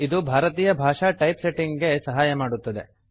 ಇದು ಭಾರತೀಯ ಭಾಷಾ ಟೈಪ್ ಸೆಟಿಂಗ್ ಗೆ ಸಹಾಯ ಮಾಡುತ್ತದೆ